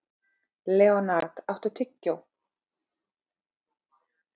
Leonhard, áttu tyggjó?